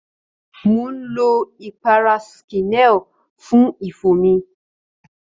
Mò ń lo ìpara skineal fún ifo mi.